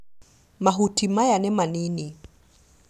Mahuti maya nĩ manini